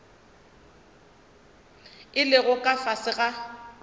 a lego ka fase ga